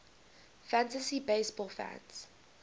fantasy baseball fans